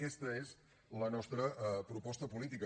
aquesta és la nostra proposta política